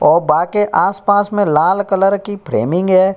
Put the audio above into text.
औ बा के आसपास में लाल कलर की फ्रेमिंग है।